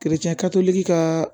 ka